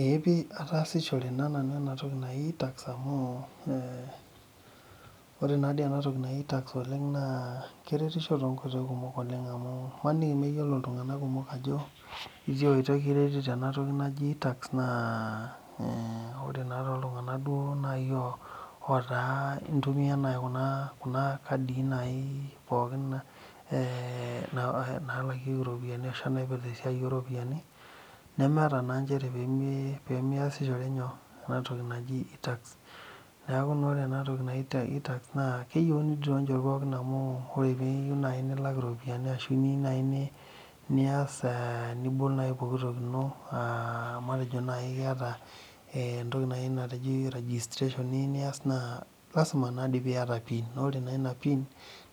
Eeehpi ataasisho nanu ena toki naji tax amu ore naadoi ena toki naji tax naa keretisho toonkoitoi kumok oleng amu imaniki mayiolo iltung'anak kumok ajo itiaaoitoi kiretito ena tooki naji tax naa ore duo tooltung'ak otaaa intumiya naaji kuna kadi naaji pookin eee naalakieki iropiyiani ashua naipirta esiai ooropiyiani nemeeta naa nchere pee miasishore nyoo enatoki naji tax neeku naa ore ena toki naji tax naa keyieuni doi toonkoitoi pokin amu ore piiyieu nilak iropiyiani niyieu naaji nias nibol naaji pookitoki ino matejo naaji keeta eeh entoki naji registration niyieu nias naa lazima naadoi piaata pin naa ore pin